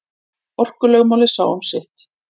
Orkulögmálið sá um sitt.